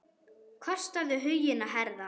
Kostaðu huginn að herða.